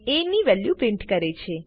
ની value print કરે છે